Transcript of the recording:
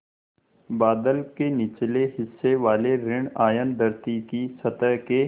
बादल के निचले हिस्से वाले ॠण आयन धरती की सतह के